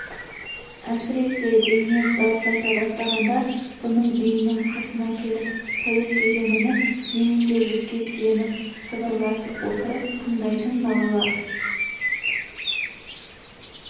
әсіресе зейнеп дауыс айта бастағанда бұның үйінің сыртына келіп пәуескеге мініп немесе жүкке сүйеніп сыбырласып отырып тыңдайтын балалар